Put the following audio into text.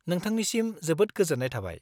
नोंथांनिसिम जोबोद गोजोन्नाय थाबाय।